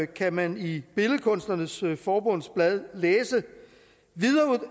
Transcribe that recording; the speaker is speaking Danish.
kan man i billedkunstnernes forbunds blad læse